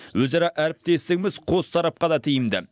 өзара әріптестігіміз қос тарапқа да тиімді